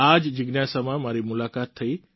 આ જ જિજ્ઞાસામાં મારી મુલાકાત થઈ